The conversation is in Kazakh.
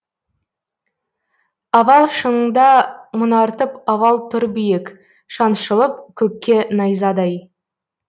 авал шыңында мұнартып авал тұр биік шаншылып көкке найзадай